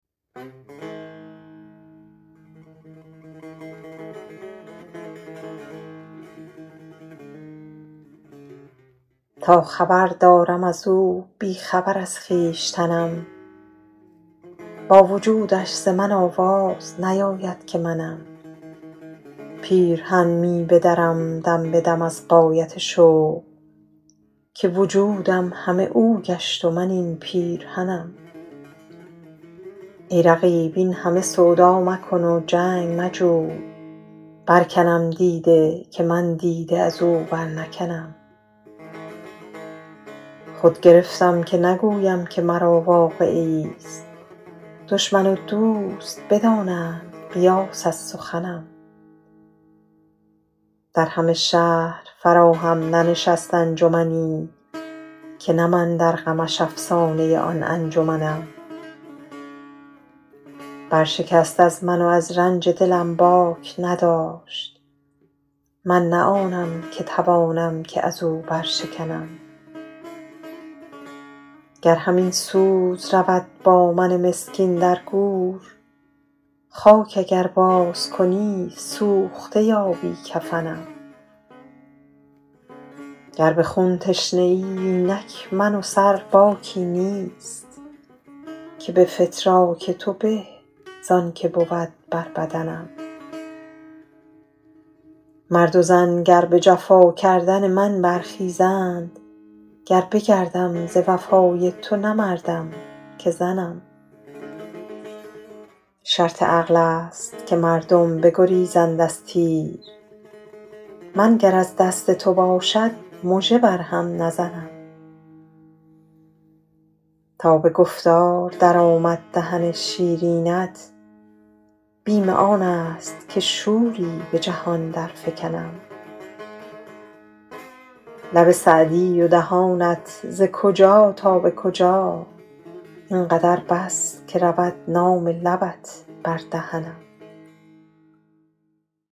تا خبر دارم از او بی خبر از خویشتنم با وجودش ز من آواز نیاید که منم پیرهن می بدرم دم به دم از غایت شوق که وجودم همه او گشت و من این پیرهنم ای رقیب این همه سودا مکن و جنگ مجوی برکنم دیده که من دیده از او برنکنم خود گرفتم که نگویم که مرا واقعه ایست دشمن و دوست بدانند قیاس از سخنم در همه شهر فراهم ننشست انجمنی که نه من در غمش افسانه آن انجمنم برشکست از من و از رنج دلم باک نداشت من نه آنم که توانم که از او برشکنم گر همین سوز رود با من مسکین در گور خاک اگر بازکنی سوخته یابی کفنم گر به خون تشنه ای اینک من و سر باکی نیست که به فتراک تو به زان که بود بر بدنم مرد و زن گر به جفا کردن من برخیزند گر بگردم ز وفای تو نه مردم که زنم شرط عقل است که مردم بگریزند از تیر من گر از دست تو باشد مژه بر هم نزنم تا به گفتار درآمد دهن شیرینت بیم آن است که شوری به جهان درفکنم لب سعدی و دهانت ز کجا تا به کجا این قدر بس که رود نام لبت بر دهنم